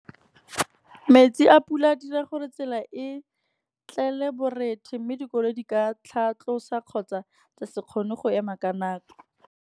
Metsi a pula a dira gore tsela e tlele borethe, mme dikolo di ka tlhatlhosa kgotsa tsa se kgone go ema ka nako.